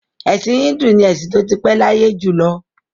Ẹ̀sìn Híńdù ni ẹ̀sìn tó ti pẹ́ láyé jù lọ.